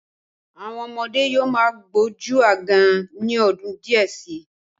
Àwọn ọmọdé yóò má gbójú aágan ní ọdún díẹ̀ sí.